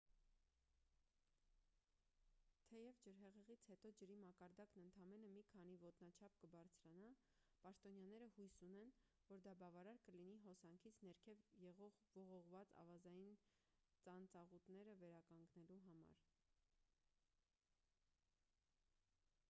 թեև ջրհեղեղից հետո ջրի մակարդակն ընդամենը մի քանի ոտնաչափ կբարձրանա պաշտոնյաները հույս ունեն որ դա բավարար կլինի հոսանքից ներքև եղող ողողված ավազային ծանծաղուտները վերականգնելու համար